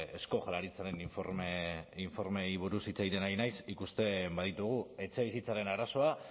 eusko jaurlaritzaren informeei buruz hitz egiten ari naiz ikusten baditugu etxebizitzaren arazoa